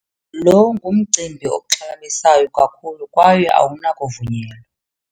Lo ngumcimbi oxhalabisayo kakhulu kwaye awunakuvunyelwa.